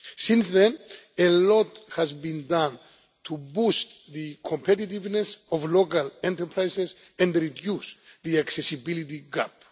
Since then a lot has been done to boost the competitiveness of local enterprises and to reduce the accessibility gap'.